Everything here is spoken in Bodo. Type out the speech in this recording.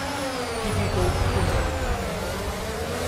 टिभिखौ खोमोरI